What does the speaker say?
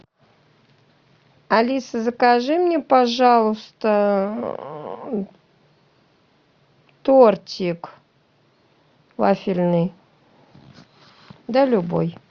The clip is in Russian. алиса закажи мне пожалуйста тортик вафельный да любой